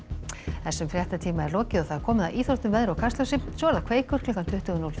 þessum fréttatíma er lokið og komið að íþróttum veðri og Kastljósi svo er það Kveikur klukkan tuttugu núll fimm